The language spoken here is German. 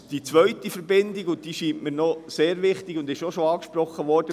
Die zweite Verbindung wurde bereits angesprochen und erscheint mir ebenfalls sehr wichtig: